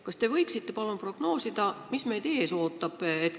Kas te võiksite palun prognoosida, mis meid ees ootab?